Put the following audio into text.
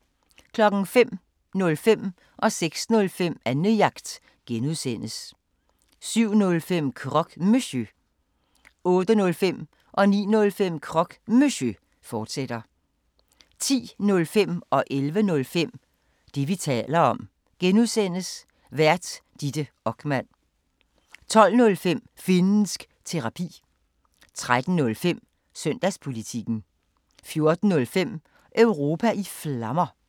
05:05: Annejagt (G) 06:05: Annejagt (G) 07:05: Croque Monsieur 08:05: Croque Monsieur, fortsat 09:05: Croque Monsieur, fortsat 10:05: Det, vi taler om (G) Vært: Ditte Okman 11:05: Det, vi taler om (G) Vært: Ditte Okman 12:05: Finnsk Terapi 13:05: Søndagspolitikken 14:05: Europa i Flammer